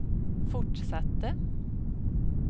fortsatte